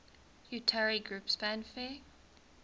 utari groups fanfare